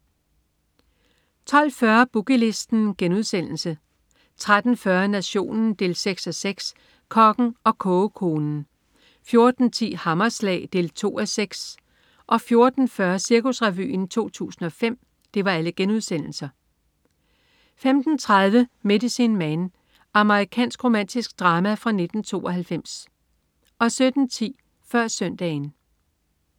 12.40 Boogie Listen* 13.40 Nationen 6:6. Kokken og kogekonen* 14.10 Hammerslag 2:6* 14.40 Cirkusrevyen 2005* 15.30 Medicine Man. Amerikansk romantisk drama fra 1992 17.10 Før Søndagen